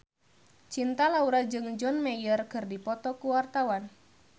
Cinta Laura jeung John Mayer keur dipoto ku wartawan